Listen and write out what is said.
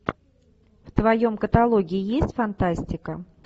в твоем каталоге есть фантастика